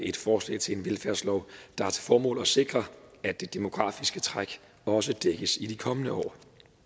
et forslag til en velfærdslov der har til formål at sikre at det demografiske træk også dækkes i de kommende år